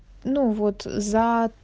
ну вот за